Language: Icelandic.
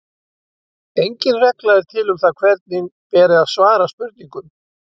Engin regla er til um það hvernig beri að svara spurningum.